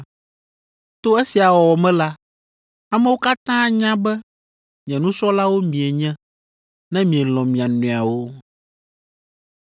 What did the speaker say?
To esia wɔwɔ me la, amewo katã anya be nye nusrɔ̃lawo mienye, ne mielɔ̃ mia nɔewo.”